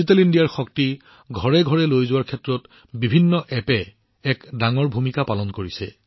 digital ইণ্ডিয়াৰ শক্তি প্ৰতিখন ঘৰলৈ লৈ যোৱাত বিভিন্ন এপে এক ডাঙৰ ভূমিকা পালন কৰে